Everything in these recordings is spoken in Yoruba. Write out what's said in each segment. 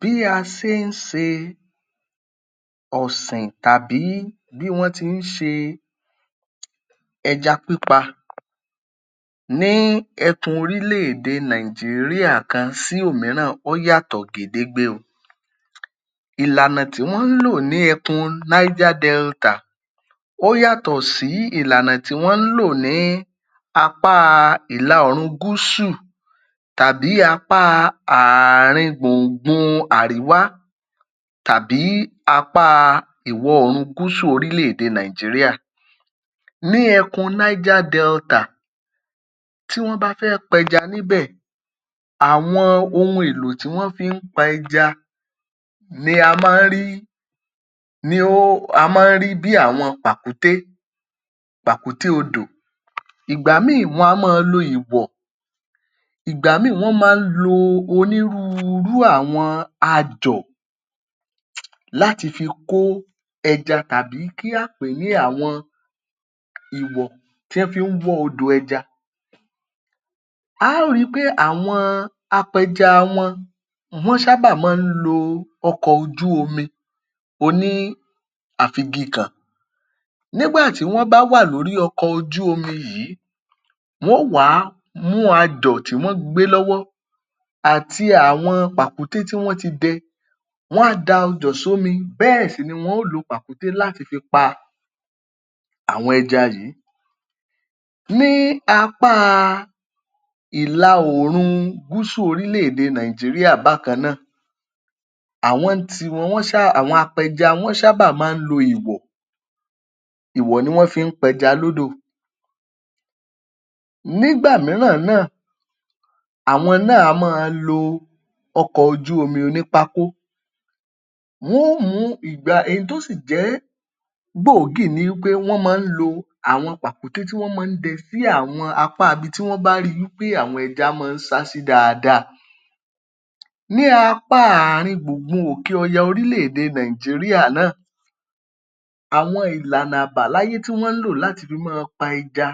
Bí a se ń se ọ̀sìn tàbí bí wọ́n ti ń ṣe ẹja pípa ní ẹkùn oríléèdè Nàìjíríà kan sí òmíràn ọ́ yàtọ̀ gédégbé o. Ìlànà tí wọ́n ń lò ní ẹkùna Niger Delta ó yàtọ̀ sí ìlànà tí wọ́n ń lò ní ìlà ọ̀ọ̀rùn gúsù tàbí apá ààrin gbùngbun àríwá tàbí ìwọ̀-oòrùn gúsù oríléèdè Nàìjíríà. Ní ẹkùn Niger Delta tí wọ́n bá fẹ́ pẹja níbẹ̀ àwọn ohun èlò tí wọ́n fi ń pa ẹja ni a máa ń rí ni ó máa ń rí bí àwọn pàkúté, pàkúté odò. Ìgbà míì wọn a máa lo ìwọ̀, ìgbà míì wọn a máa ń lo onírúurú àwọn ajọ̀ láti fi kó ẹja tàbí kí á pè é ní àwọn ìwọ̀ tí wọ́n fi ń wọ́ odò ẹja. A á rí i pé àwọn apẹja wọn wọ́n ṣáábà máa ń lo ọkọ̀ ojú omi oníàfigikàn nígbà tí wọ́n bá wà lórí ọkọ̀ ojú omi yìí wọ́n ó wà á mú ajọ̀ tí wọ́n gbé lọ́wọ́ àti àwọn pàkúté tí wọ́n ti dẹ. Wọ́n á da ajọ̀ s’ómi bẹ́ẹ̀ sì ni wọ́n ó lu pàkúté láti fi pa àwọn ẹja yìí. Ní apá ìla oòrun gúsù oríléèdè Nàìjíríà bákan náà, àwọn ń tiwọn wọ́n ṣáà àwọn apẹja wọ́n sáábà máa ń lo ìwọ̀. Ìwọ̀ ni wọ́n fi ń pẹja lódò. Nígbà mìíràn náà, àwọn náà á máa lo ọkọ̀ ojú omi onípákó. Wọ́n ó mù ú ìgba èyí tó sì jẹ́ gbòógì ni wí pé máa ń lo àwọn pàkúté tí wọ́n máa ń dẹ sí àwọn apá ibi tí wọ́n bá rí i wí pé àwọn ẹja máa ń sá sí dáadáa. Ní apá ààrin gbùngbun òkè ọ̀ya oríléèdè Nàìjíríà náà, àwọn ìlànà àbáláyé tí wọ́n ń lò láti fi máa pa ẹja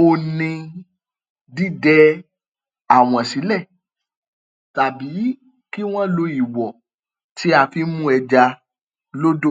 òhun ni dídẹ àwọn sílẹ̀ tàbí kí wọ́n lo ìwọ̀ tí a fi ń mú ẹja lódò.